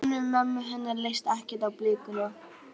Guðrúnu, mömmu hennar, leist ekkert á blikuna.